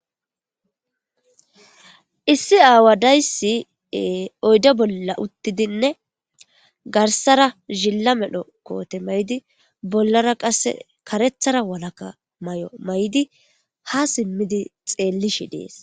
Issi aawadayssi oyde bolla uttidinne garsara zilla medho koote maydi bollara qasse karethara walaka may'o may'di ha simmidi xeelli shi dees.